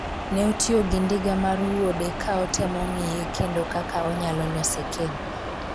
ne otiyo gi ndiga mar wuode ka otemo ng'iye kendo kaka onyalo lose kendo